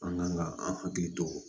An kan ka an hakili to